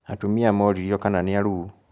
Atumia moririo kana niaruu